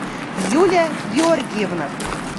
юлия георгиевна